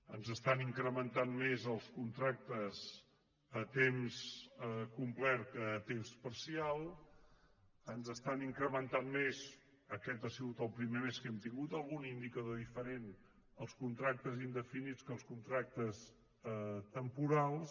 ens estan incrementant més els contractes a temps complet que a temps parcial ens estan incrementant més aquest ha sigut el primer mes que hem tingut algun indicador diferent els contractes indefinits que els contractes temporals